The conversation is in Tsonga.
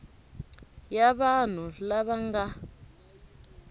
ya vanhu lava va nga